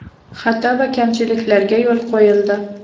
Xato va kamchiliklarga yo‘l qo‘yildi.